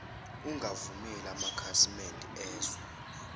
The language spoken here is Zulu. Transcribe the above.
ungavumeli amakhasimede ezwe